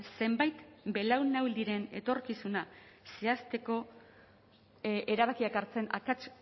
zenbait belaunaldiren etorkizuna zehazteko erabakiak hartzen akats